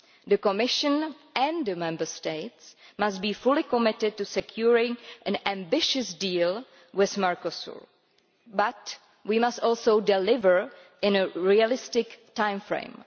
The Commission and the Member States must be fully committed to securing an ambitious deal with Mercosur, but we must also deliver within a realistic time frame.